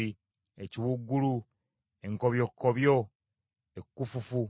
ekiwuugulu, enkobyokkobyo, ekkufufu,